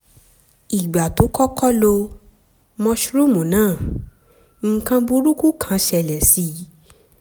ìgbà tó kọ́kọ́ lo mushroom náà nǹkan burúkú kan ṣẹlẹ̀ sí i